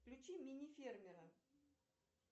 включи мини фермера